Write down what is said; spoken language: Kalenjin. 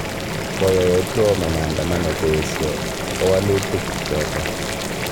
Koyai Otuoma maandamano koesyoi kawalutik choto